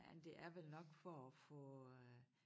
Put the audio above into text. Men det er vel nok for at få øh